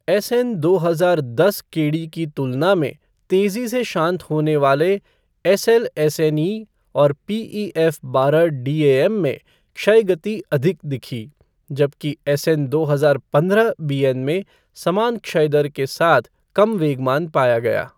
SN दो हजार दस केडी की तुलना में तेज़ी से शांत होने वाले एसएलएसएनई और पीईएफ़ बारह डीएएम में क्षय गति अधिक दिखी, जबकि एसएन दो हजार पंद्रह बीएन में समान क्षय दर के साथ कम वेग मान पाया गया।